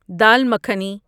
dal makhani